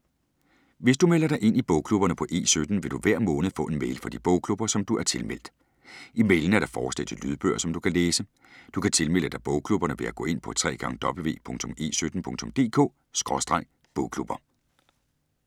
Hvis du melder dig ind i bogklubberne på E17, vil du hver måned få en mail fra de bogklubber, som du er tilmeldt. I mailen er der forslag til lydbøger, som du kan læse. Du kan tilmelde dig bogklubberne ved at gå ind på www.e17.dk/bogklubber